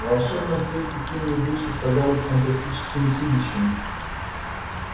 в волшебном свете тени идущих казались фантастическими чудищами